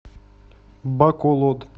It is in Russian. баколод